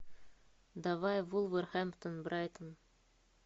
давай вулверхэмптон брайтон